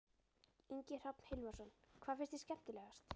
Ingi Hrafn Hilmarsson: Hvað fannst þér skemmtilegast?